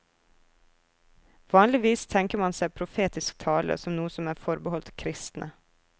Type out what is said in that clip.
Vanligvis tenker man seg profetisk tale som noe som er forbeholdt kristne.